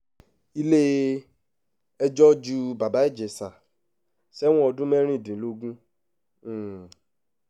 ilé-ẹjọ́ ju bàbá ìjẹsà sẹ́wọ̀n ọdún mẹ́rìndínlógún um